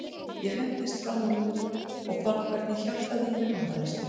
Ég hentist fram úr rúminu og fann hvernig hjartað í mér hamaðist.